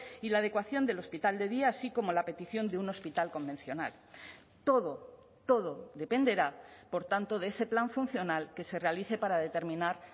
y la adecuación del hospital de día así como la petición de un hospital convencional todo todo dependerá por tanto de ese plan funcional que se realice para determinar